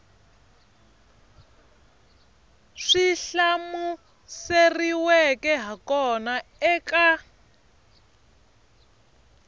swi hlamuseriweke ha kona eka